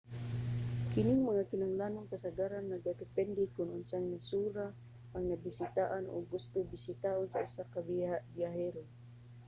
kining mga kinahanglanon kasagaran nagadepende kon unsang nasura ang nabisitaan o gusto bisitaon sa usa ka biyahero